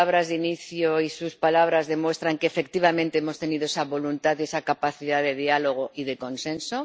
Mis palabras de inicio y sus palabras demuestran que, efectivamente, hemos tenido esa voluntad, esa capacidad de diálogo y de consenso.